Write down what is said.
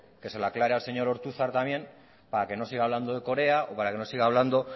que se lo aclare al señor ortuzar también para que no siga hablando de corea o para que no siga hablando